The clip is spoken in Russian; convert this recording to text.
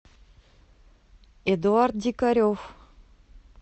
эдуард дикарев